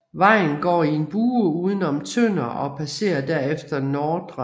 Vejen går i en bue uden om Tønder og passere derefter Ndr